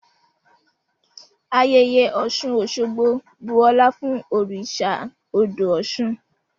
Ayẹyẹ Oṣun-Oṣogbo bu ọlá fun oriṣa odo Oṣun.